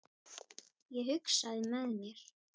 Ég hugsaði með mér